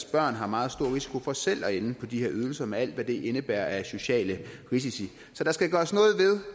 børn har meget stor risiko for selv at ende på de her ydelser med alt hvad det indebærer af sociale risici så der skal gøres noget ved